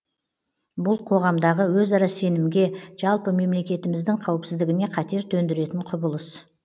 бұл қоғамдағы өзара сенімге жалпы мемлекетіміздің қауіпсіздігіне қатер төндіретін құбылыс